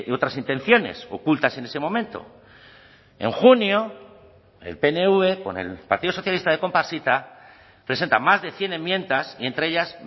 otras intenciones ocultas en ese momento en junio el pnv con el partido socialista de comparsita presenta más de cien enmiendas y entre ellas